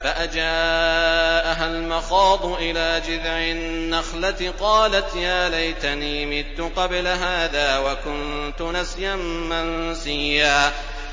فَأَجَاءَهَا الْمَخَاضُ إِلَىٰ جِذْعِ النَّخْلَةِ قَالَتْ يَا لَيْتَنِي مِتُّ قَبْلَ هَٰذَا وَكُنتُ نَسْيًا مَّنسِيًّا